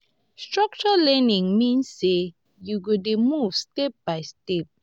structured learning mean sey you go dey move step by step.